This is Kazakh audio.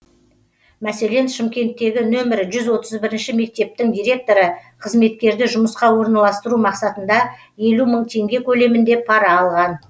мәселен шымкенттегі нөмірі жүз отыз бірінші метептің директоры қызметкерді жұмысқа орналстыру мақсатында елу мың теңге көлемінде пара алған